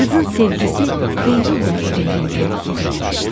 Qızın sevgisi Xeyrin də ürəyində yer eləmişdi.